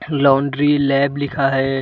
Laundry lab लिखा है।